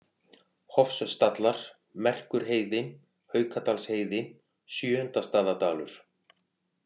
Hofsstallar, Merkurheiði, Haukadalsheiði, Sjöundastaðadalur